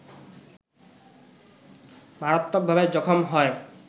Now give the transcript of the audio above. মারাত্মকভাবে জখম হয়